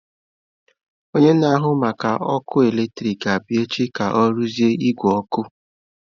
Onye na-ahụ maka ọkụ eletrik ga-abịa echi ka ọ rụzie igwe ọkụ.